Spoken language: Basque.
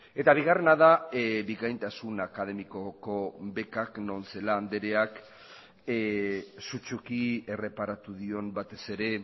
eta bigarrena da bikaintasun akademikoko bekak non celaá andreak sutsuki erreparatu dion batez ere